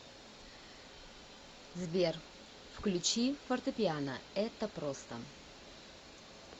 сбер включи фортепиано это просто